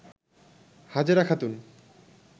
Hajera Khatun